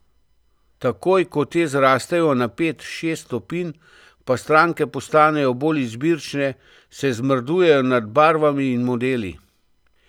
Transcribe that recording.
Takoj ko te zrastejo na pet, šest stopinj, pa stranke postanejo bolj izbirčne, se zmrdujejo nad barvami in modeli.